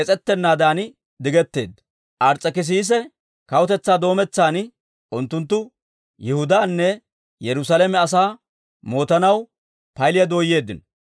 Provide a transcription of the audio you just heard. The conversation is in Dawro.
Ars's'ekissise kawutetsaa doommetsan, unttunttu Yihudaanne Yerusaalame asaa mootanaw paylliyaa dooyeeddino.